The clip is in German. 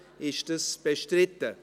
Ist dies bestritten?